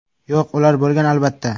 Yo‘q, ular bo‘lgan, albatta.